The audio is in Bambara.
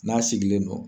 N'a sigilen don